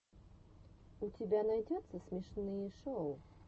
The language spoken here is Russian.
у тебя найдется смешные шоу